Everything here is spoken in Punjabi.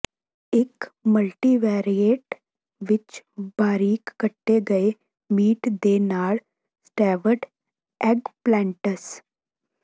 ਇੱਕ ਮਲਟੀਵੈਰਏਟ ਵਿੱਚ ਬਾਰੀਕ ਕੱਟੇ ਗਏ ਮੀਟ ਦੇ ਨਾਲ ਸਟੈਵਡ ਐੱਗਪਲੈਂਟਸ